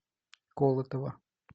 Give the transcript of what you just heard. колотова